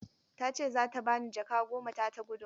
Ta ce za ta ba ni jaka goma ta ta gudunmawar.